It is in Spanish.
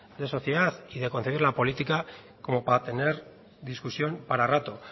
de sociedad y de concebir la política como para tener discusión para rato